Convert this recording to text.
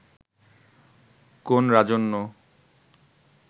কোন রাজন্য